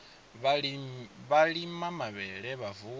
vha lima mavhele vha vuwa